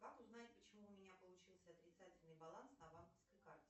как узнать почему у меня получился отрицательный баланс на банковской карте